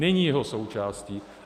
Není jeho součástí.